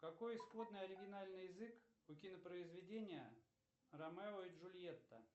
какой исходный оригинальный язык у кинопроизведения ромео и джульетта